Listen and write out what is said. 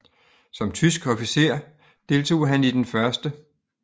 Som tysk officer deltog han i den 1